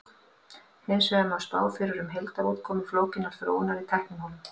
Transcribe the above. hins vegar má spá fyrir um heildarútkomu flókinnar þróunar í tæknimálum